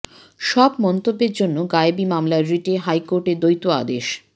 সব মন্তব্যের জন্য গায়েবি মামলার রিটে হাইকোর্টের দ্বৈত আদেশ